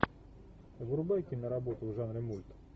врубай киноработу в жанре мульт